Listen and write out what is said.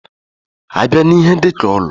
A bịa n'ihe dika ụlọ.